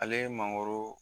Ale ye mangoro